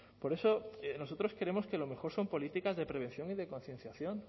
por eso nosotros creemos que lo mejor son políticas de prevención y de concienciación